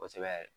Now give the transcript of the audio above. Kosɛbɛ yɛrɛ